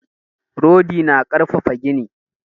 Rodi na ƙarfafa gini.